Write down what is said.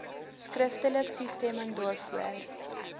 skriftelik toestemming daarvoor